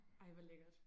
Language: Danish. Ej hvor lækkert